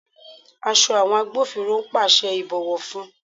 Aṣọ àwọn agbófinró ń pàṣẹ ìbọ̀wọ́ fún.